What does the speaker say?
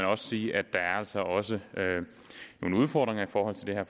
også sige at der altså også er nogle udfordringer i forhold til det her